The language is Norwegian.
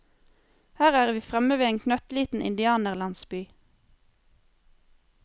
Her er vi fremme ved en knøttliten indianerlandsby.